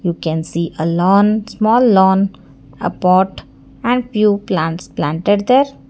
you can see a lawn small lawn a pot and few plants planted there.